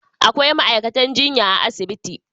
Akwai ma'aikatan jinya a asibitin.